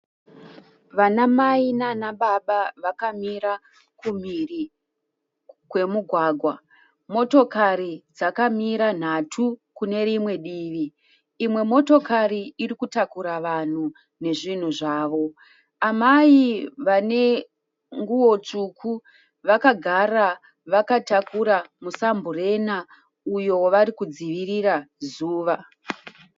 Vanamai nanababa vakamira kumhiri kwemugwagwa. Motokari dzakamira nhatu kune rimwe divi. Imwe motokari iri kutakura vanhu nezvinhu zvavo. Amai vane nguwo tsvuku vakagara vakatakura musamburena uyo wavari kudzivirira zuva.